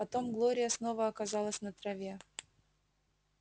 потом глория снова оказалась на траве